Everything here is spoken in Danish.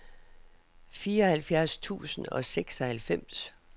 fireoghalvfjerds tusind og seksoghalvfems